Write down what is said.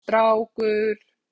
Það var strákur.